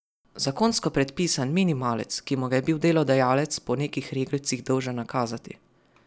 Zakonsko predpisan minimalec, ki mu ga je bil delodajalec po nekih reglcih dolžan nakazati.